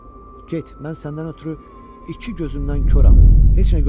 Get, mən səndən ötrü iki gözümdən koram, heç nə görmürəm.